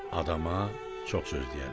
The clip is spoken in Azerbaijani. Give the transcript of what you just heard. Adama çox söz deyərlər.